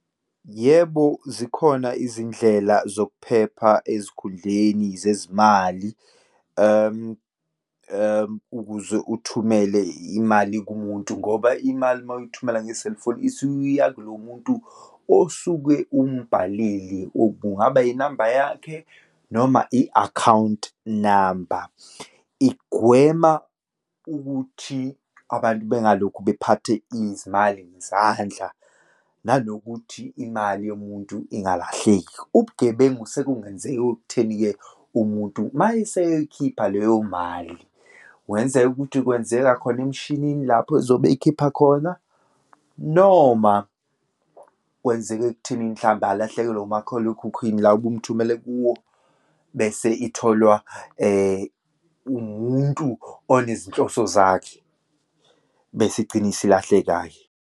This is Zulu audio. Yebo, zikhona izindlela zokuphepha ezikhundleni zezimali, ukuze uthumele imali kumuntu ngoba imali uma uyithumela nge-cellphone, isukiya kulo muntu osuke umbhalelile, kungaba inamba yakhe noma i-akhawunti namba. Igwema ukuthi abantu bengalokhu bephathe izimali ngezandla, nanokuthi imali yomuntu ingalahleki. Ubugebengu sekungenzeka ekutheni-ke umuntu uma eseyoyikhipha leyo mali, kungenzeka ukuthi kwenzeka khona emshinini lapho ezobe eyikhipha khona, noma kwenzeka ekuthenini mhlawumbe alahlekelwe umakhalekhukhwini la ubumthumela kuwo, bese itholwa umuntu onezinhloso zakhe, bese igcine isilahleka-ke.